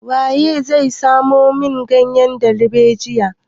Waye zai samo min ganyen darbejiyan?